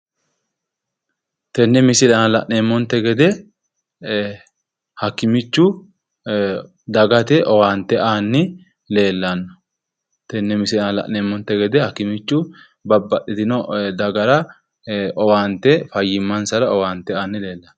Tenne misile aana la'neemmonte gede hakimichu dagate owaante aanni leellanno. Tenne misile aana la'neemmonte gede hakimichu babaxitino dagate fayyimansara owaante aanni leellanno.